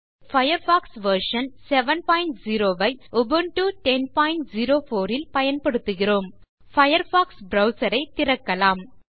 இங்கே Firefox version 70 ஐ Ubuntu 1004 ல் பயன்படுத்துகிறோம் பயர்ஃபாக்ஸ் ப்ரவ்சர் ஐத் திறக்கலாம்